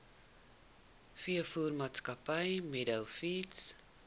veevoermaatskappy meadow feeds